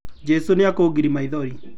Jesu nĩkũgiria maithori.